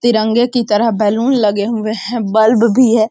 तिरंगे की तरह बैलून लगे हुए है बल्ब भी है।